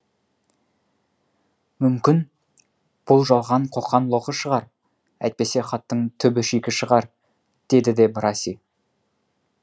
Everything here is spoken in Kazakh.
мүмкін бұл жалған қоқан лоқы шығар әйтпесе хаттың түбі шикі шығар деді де браси